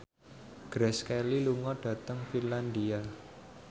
Grace Kelly lunga dhateng Finlandia